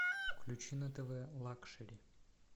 включи на тв лакшери